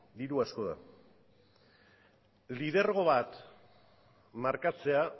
diru asko da lidergo bat markatzea